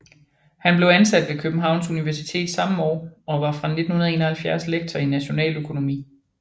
Han blev ansat ved Københavns Universitet samme år og var fra 1971 lektor i nationaløkonomi